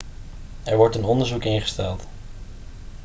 er wordt een onderzoek ingesteld